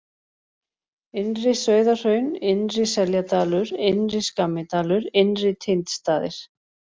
Innri-Sauðahraun, Innri-Seljadalur, Innri-Skammidalur, Innri-Tindstaðir